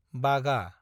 बागा